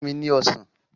Fún mi ní Ọsàn!